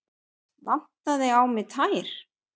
Vantaði á mig tær?